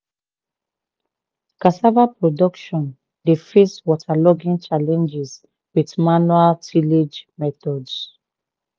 cassava production dey face waterlogging challenges with manual tillage methods.